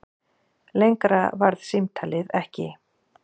Lengra varð símtalið ekki.